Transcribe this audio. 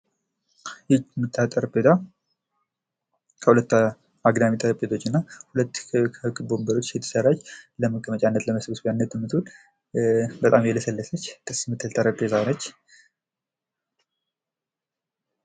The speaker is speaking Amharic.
አጠር ብላ ከሁለት አግዳሚ ጠረንጴዛዎች እና ከሁለት ክብ ወንበሮች የተሰራች ደስ የምትል፣ በጣም የለሰለሰች ጠረንጴዛ ነች።